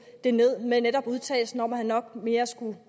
det ned netop med udtalelsen om at han nok mere skulle